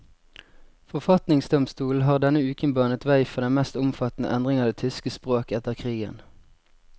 Forfatningsdomstolen har denne uken banet vei for den mest omfattende endring av det tyske språk etter krigen.